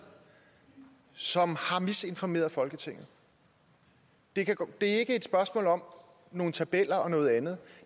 som har misinformeret folketinget det er ikke et spørgsmål om nogle tabeller og noget andet